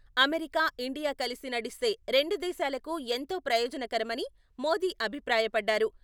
America, India కలిసి నడిస్తే రెండు దేశాలకు ఎంతో ప్రయోజనకరమని మోదీ అభిప్రాయపడ్డారు.